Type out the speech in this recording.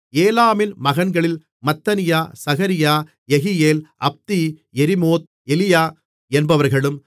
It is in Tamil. ஏலாமின் மகன்களில் மத்தனியா சகரியா யெகியேல் அப்தி யெரிமோத் எலியா என்பவர்களும்